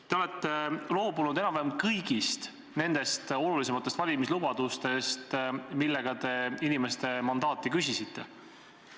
Te olete loobunud enam-vähem kõigist olulisematest valimislubadustest, millega te inimeste mandaati küsisite.